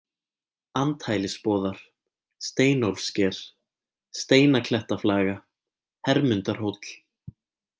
Andhælisboðar, Steinólfssker, Steinaklettaflaga, Hermundarhóll